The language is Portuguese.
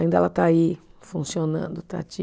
Ainda ela está aí funcionando, está